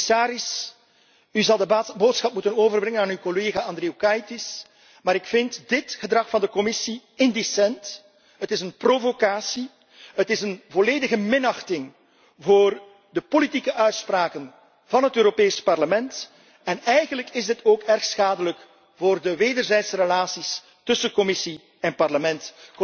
Commissaris, u zou de boodschap moeten overbrengen aan uw collega Andriukaitis dit gedrag van de Commissie is indecent. Het is een provocatie. Het is een volledige minachting voor de politieke uitspraken van het Europees Parlement en eigenlijk is dit ook erg schadelijk voor de wederzijdse relatie tussen Commissie en Parlement.